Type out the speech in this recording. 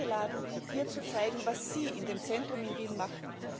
Sie wurden eingeladen, hier zu zeigen, was sie in dem Zentrum in Wien machen.